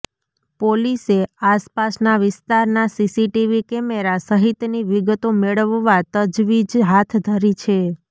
પોલીસે આસપાસના વિસ્તારના સીસીટીવી કેમેરા સહિતની વિગતો મેળવવા તજવીજ હાથ ધરી છે